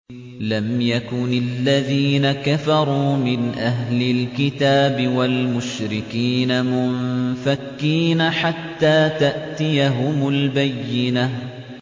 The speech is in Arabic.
لَمْ يَكُنِ الَّذِينَ كَفَرُوا مِنْ أَهْلِ الْكِتَابِ وَالْمُشْرِكِينَ مُنفَكِّينَ حَتَّىٰ تَأْتِيَهُمُ الْبَيِّنَةُ